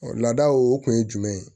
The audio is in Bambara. ladaw o kun ye jumɛn ye